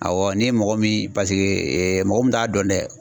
Awɔ, ni ye mɔgɔ min mɔgɔ min t'a dɔn dɛ